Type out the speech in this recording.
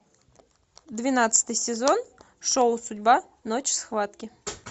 двенадцатый сезон шоу судьба ночь схватки